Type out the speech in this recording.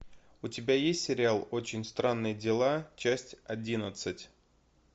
у тебя есть сериал очень странные дела часть одиннадцать